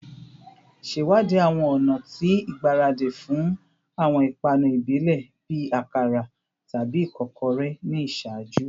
Ṣewadii awọn ọna ti igbaradi fun awọn ipanu ibile bii akara tabi ikokore ni iṣaaju